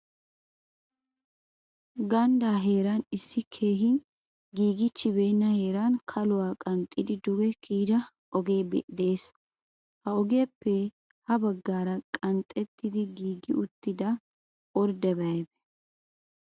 gandda heeran issi keehin giigiichibeenna heeran kaluwa qanxxidi duge kiyyida ogee de'ees. ha ogiyappe ha baggaara qanxxettidi giigi uttida ordebay aybbee?